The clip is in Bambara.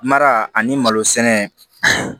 Mara ani malo sɛnɛ